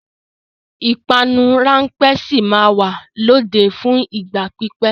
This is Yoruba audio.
Ìpanu ráńpẹ́ sì máa wà lóde fún ìgbà pípẹ́.